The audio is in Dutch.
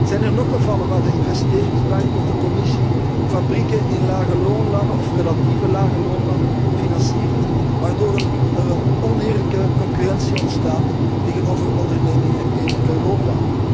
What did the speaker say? Zijn er nog gevallen waar de Investeringsbank of de Commissie fabrieken in lagelonenlanden of relatieve lagelonenlanden financiert, waardoor er een oneerlijke concurrentie ontstaat tegen ondernemingen in Europa?